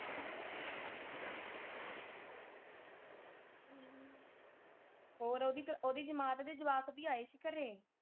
ਹੋਰ ਓਹਦੀ ਓਹਦੀ ਜਮਾਤ ਦੇ ਜਵਾਕ ਵੀ ਆਏ ਸੀ ਘਰੇ।